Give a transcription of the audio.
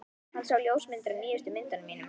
Hann sá ljósmyndir af nýjustu myndunum mínum.